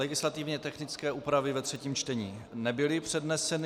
Legislativně technické úpravy ve třetím čtení nebyly předneseny.